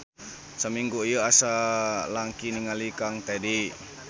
Samingu ieu asa langki ningal kang Tedy.